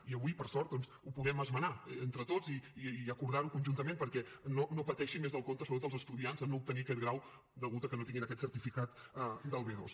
i avui per sort doncs ho podem esmenar entre tots i acordar ho conjuntament perquè no pateixin més del compte sobretot els estudiants en no obtenir aquest grau degut a que no tinguin aquest certificat del b2